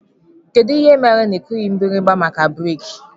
Kedụ ihe mere na ikughi mgbirimgba maka breeki?